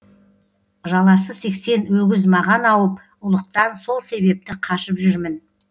жаласы сексен өгіз маған ауып ұлықтан сол себепті қашып жүрмін